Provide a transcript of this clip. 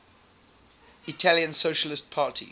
italian socialist party